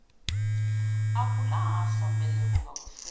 akulahlwa mbeleko ngakufelwa